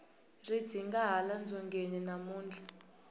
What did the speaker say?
ri dzinda hala dzongeni namuntlha